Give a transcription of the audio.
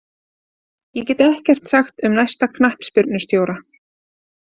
Ég get ekkert sagt um næsta knattspyrnustjóra.